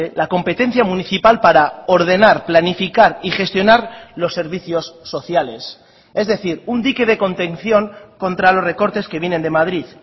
la competencia municipal para ordenar planificar y gestionar los servicios sociales es decir un dique de contención contra los recortes que vienen de madrid